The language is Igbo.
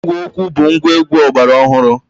Ígwè okwu bụ ngwaegwu ọgbara ọhụrụ.